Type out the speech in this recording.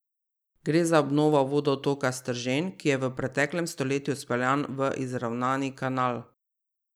Gre za obnovo vodotoka Stržen, ki je bil v preteklem stoletju speljan v izravnani kanal.